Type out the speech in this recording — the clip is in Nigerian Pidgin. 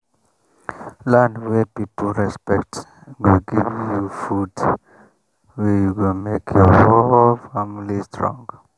land wey people respect go give you food wey go make your whole family strong.